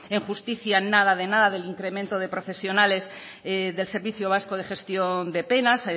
en justicia nada de nada del incremento de profesionales del servicio vasco de gestión de penas